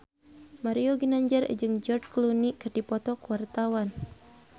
Mario Ginanjar jeung George Clooney keur dipoto ku wartawan